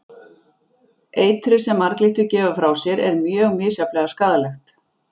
Eitrið sem marglyttur gefa frá sér er mjög misjafnlega skaðlegt.